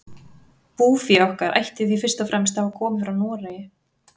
Búfé okkar ætti því fyrst og fremst að hafa komið frá Noregi.